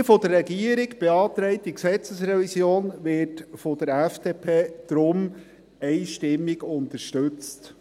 Die von der Regierung beantragte Gesetzesrevision wird darum von der FDP einstimmig unterstützt.